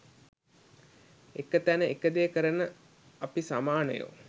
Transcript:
එක තැන එක දේ කරන අපි සමානයෝ